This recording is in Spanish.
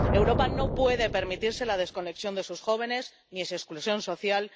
Europa no puede permitirse la desconexión de sus jóvenes ni su exclusión social.